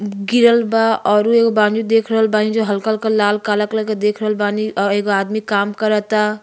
म्-गिरल बा अउरु एगो बानी देख रहल बानी जो हल्का-हल्का लाल काला कलर के देख रल बानी अ एगो आदमी काम करता --